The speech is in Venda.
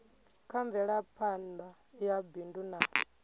kha mvelaphana ya bindu na